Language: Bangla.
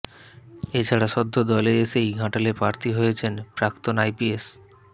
এছাড়া সদ্য দলে এসেই ঘাটালে প্রার্থী হয়েছেন প্রাক্তণ আইপিএস